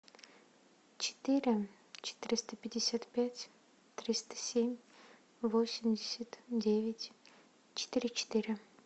четыре четыреста пятьдесят пять триста семь восемьдесят девять четыре четыре